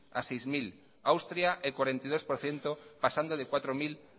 a sei mila austria el cuarenta y dos por ciento pasando de cuatro mil